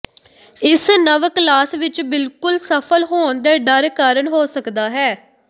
ਇਸ ਨਵ ਕਲਾਸ ਵਿਚ ਬਿਲਕੁਲ ਸਫਲ ਹੋਣ ਦੇ ਡਰ ਕਾਰਨ ਹੋ ਸਕਦਾ ਹੈ